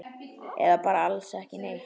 Eða bara alls ekki neitt?